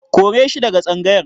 Kore shi daga tsangayar.